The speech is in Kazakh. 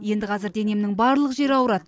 енді қазір денемнің барлық жері ауырады